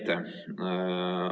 Aitäh!